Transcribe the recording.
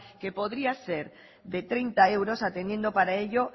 que podría ser de treinta euros atendiendo para ello